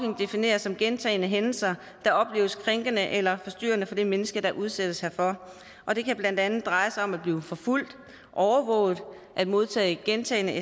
defineres som gentagne hændelser der opleves krænkende eller forstyrrende for det menneske der udsættes herfor og det kan blandt andet dreje sig om at blive forfulgt overvåget at modtage gentagne